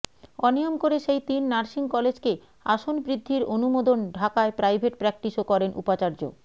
অনিয়ম করে সেই তিন নার্সিং কলেজকে আসন বৃদ্ধির অনুমোদনঢাকায় প্রাইভেট প্র্যাকটিসও করেন উপাচার্য